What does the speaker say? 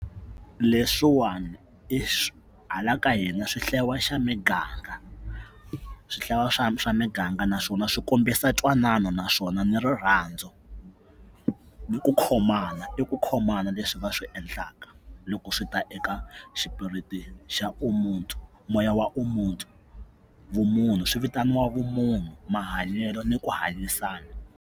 Leswiwani hala ka hina swi hlayiwa xa miganga swi hlayiwa swa swa miganga naswona swi kombisa ntwanano naswona ni rirhandzu ni ku khomana i ku khomana leswi va swi endlaka loko swi ta eka xipiriti xa omuntu moya wa omuntu vumunhu swi vitaniwa vumunhu mahanyelo ni ku hanyisana.